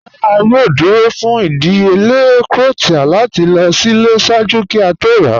"Ràrá, a yòò dúró fún ìdíyèlẹ̀ cowtail láti lọ sílẹ̀ ṣáàjú kí a tó rà."